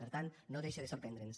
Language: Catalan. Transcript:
per tant no deixa de sorprendre’ns